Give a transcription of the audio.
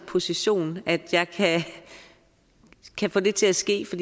position at jeg kan få det til at ske for